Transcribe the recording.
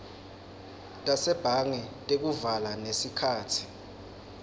tasebhange tekuvala nesikhatsi